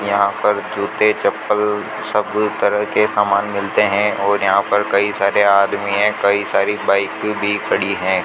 यहाँ पर जूते चप्पल सब तरह के सामान मिलते हैं और यहाँ पर कई सारे आदमी हैं कई सारी बाइके भी खड़ी हैं।